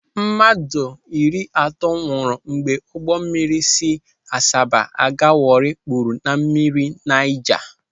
Mmadụ iri atọ nwụrụ mgbe ụgbọ mmiri si Asaba aga Warri kpuru na mmiri Naija.